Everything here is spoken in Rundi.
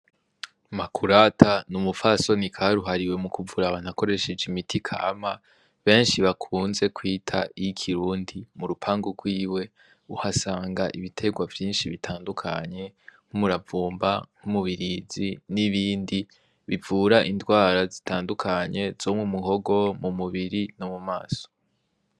Makurata ni umufasoni kari uhariwe mu kuvurabantuakoresheje imiti kama benshi bakunze kwita ikirundi mu rupanga rwiwe uhasanga ibiterwa vyinshi bitandukanye nk'umuravumba nk'umubirizi n'ibindi bivura indwara zitandukanye zo mu muhogo mu mubiri no mu maso.